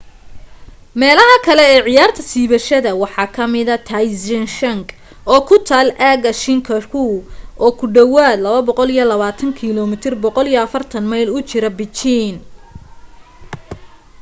meelaha kale ee ciyaarta siibashada waxa ka mida taizicheng oo ku taal aaga zhangjiakou oo ku dhawaad 220 km 140 mayl u jira beijing